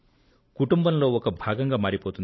కుటుంబంలో ఒక భాగంగా మారిపోతుంది